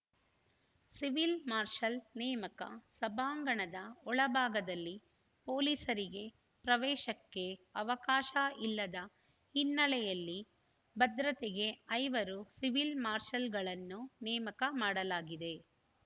civil marshal ನೇಮಕ ಸಭಾಂಗಣದ ಒಳಭಾಗದಲ್ಲಿ ಪೊಲೀಸರಿಗೆ ಪ್ರವೇಶಕ್ಕೆ ಅವಕಾಶ ಇಲ್ಲದ ಹಿನ್ನೆಲೆಯಲ್ಲಿ ಭದ್ರತೆಗೆ ಐವರು ಸಿವಿಲ್‌ ಮಾರ್ಷಲ್‌ಗಳನ್ನು ನೇಮಕ ಮಾಡಲಾಗಿದೆ